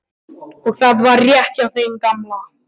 Og það var rétt hjá þeim gamla.